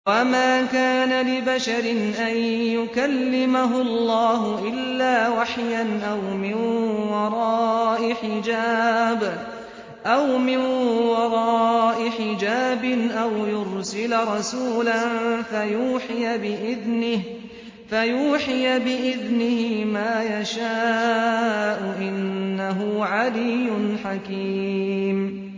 ۞ وَمَا كَانَ لِبَشَرٍ أَن يُكَلِّمَهُ اللَّهُ إِلَّا وَحْيًا أَوْ مِن وَرَاءِ حِجَابٍ أَوْ يُرْسِلَ رَسُولًا فَيُوحِيَ بِإِذْنِهِ مَا يَشَاءُ ۚ إِنَّهُ عَلِيٌّ حَكِيمٌ